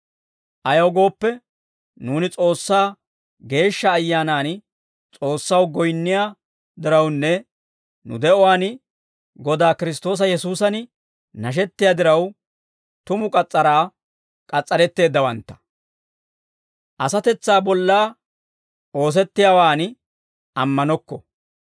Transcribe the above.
Ayaw gooppe, nuuni S'oossaa Geeshsha Ayyaanan S'oossaw goyinniyaa dirawunne nu de'uwaan Godaa Kiristtoosa Yesuusan nashettiyaa diraw, tumu k'as's'araa k'as's'aretteeddawantta; asatetsaa bolla oosettiyaawan ammanokko.